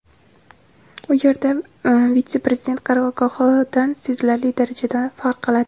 u yer vitse-prezident qarorgohidan sezilarli darajada farq qiladi.